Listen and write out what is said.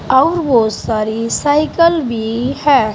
और बहुत सारी साइकल भी है।